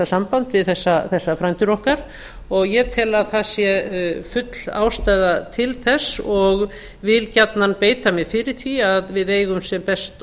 samband við þessa frændur okkar og ég tel að það sé full ástæða til þess og vil gjarnan beita mér fyrir því að við eigum sem best